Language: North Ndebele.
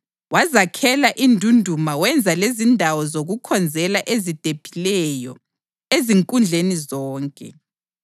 wazakhela indunduma wenza lezindawo zokukhonzela ezidephileyo ezinkundleni zonke.